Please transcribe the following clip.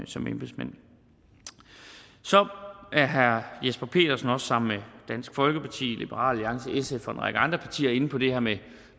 som embedsmænd så er herre jesper petersen også sammen med dansk folkeparti liberal alliance sf og en række andre partier inde på det her med